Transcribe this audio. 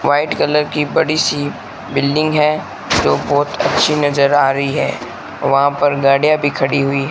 white colour की बड़ी सी बिल्डिंग है जो बहोत अच्छी नजर आ रही है वहां पर गाड़ियां भी खड़ी--